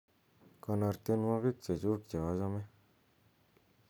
konor tienwogik chechuk cheochome